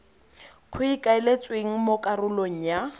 go ikaeletswe mo karolong ya